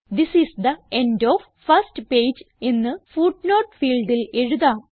this is the end of first page എന്ന് footnote ഫീൽഡിൽ എഴുതാം